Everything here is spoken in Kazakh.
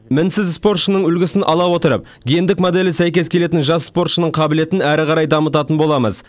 мінсіз спортшының үлгісін ала отырып гендік моделі сәйкес келетін жас спортшының қабілетін әрі қарай дамытатын боламыз